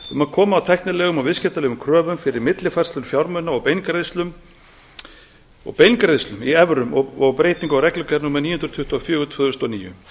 um að koma á tæknilegum og viðskiptalegum kröfum fyrir millifærslur fjármuna og beingreiðslur í evrum og breytingu á reglugerð níu hundruð tuttugu og fjögur tvö þúsund og níu